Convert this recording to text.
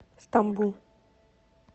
стамбул